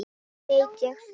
Veit ég það.